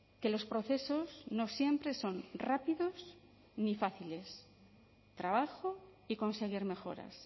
que los procesos no siempre son rápidos ni fáciles trabajo y conseguir mejoras